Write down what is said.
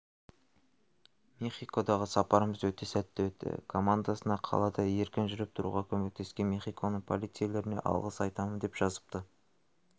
мехикодағы сапарымыз өте сәтті өтті командасына қалада еркін жүріп-тұруға көмектескен мехиконың полицейлеріне алғыс айтамын деп жазыпты